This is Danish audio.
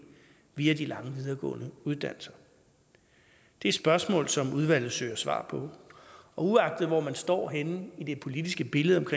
via de lange videregående uddannelser det er spørgsmål som udvalget søger svar på og uagtet hvor man står henne i det politiske billede med